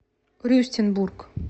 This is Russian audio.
рюстенбург